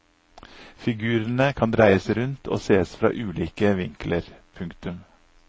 Figurene kan dreies rundt og ses fra ulike vinkler. punktum